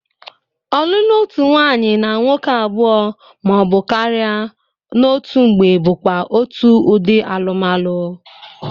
Ọlụlụ otu nwaanyị na nwoke abụọ ma ọ bụ karị n'otu mgbe bụkwa otu ụdị alụmalụ.